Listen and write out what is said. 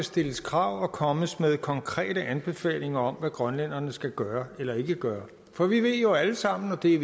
stilles krav og kommes med konkrete anbefalinger om hvad grønlænderne skal gøre eller ikke gøre for vi ved jo alle sammen og det